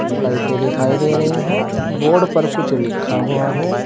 लाइटें दिखाई दे रही हैं बोर्ड पर कुछ लिखा हुआ है।